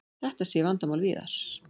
Þetta sé vandamál víðar.